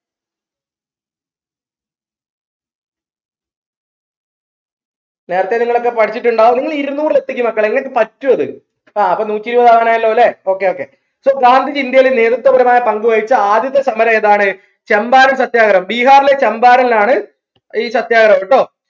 നേരത്തെ നിങ്ങളൊക്കെ പഠിച്ചിട്ടുണ്ടാവും നിങ്ങൾ ഇരുന്നൂർ എത്തിക്ക് മക്കളെ നിങ്ങൾക്ക് പറ്റുംഅത് ആഹ് അപ്പൊ നൂറ്റിഇരുപത് ആവനായല്ലോ ല്ലേ okay okay so ഗാന്ധിജി ഇന്ത്യയിൽ നേതൃത്വപരമായ പങ്കുവഹിച്ച ആദ്യത്തെ സമരംഎതാണ് ചമ്പാരൻ സത്യാഗ്രഹം ബിഹാറിലെ ചമ്പാരൻലാണ് ഈ സത്യാഗ്രഹം ട്ടോ